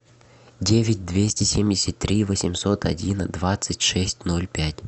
девять двести семьдесят три восемьсот один двадцать шесть ноль пять